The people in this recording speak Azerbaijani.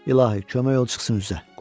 İlahi, kömək ol çıxsın üzə.